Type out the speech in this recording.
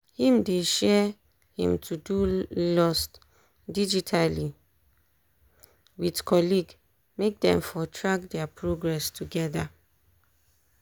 him dey share him todo lost digitally with colleague make them for track their progress together.